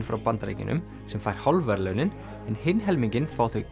frá Bandaríkjunum sem fær hálf verðlaunin hinn helminginn fá þau